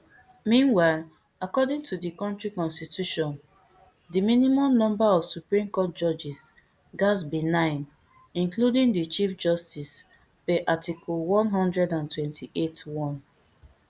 meanwhile according to di kontri constitution di minimum number of supreme court judges gatz be nine including di chief justice per article one hundred and twenty-eight one